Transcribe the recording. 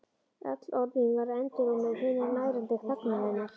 Öll orð mín verða endurómur hinnar nærandi þagnar hennar.